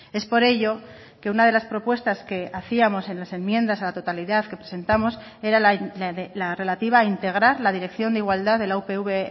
es por ello que una de las propuestas que hacíamos en las enmiendas a la totalidad que presentamos era la relativa a integrar la dirección de igualdad de la upv